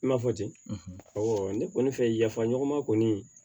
I m'a fɔ ten ne kɔni fɛ yafa ɲɔgɔn ma kɔni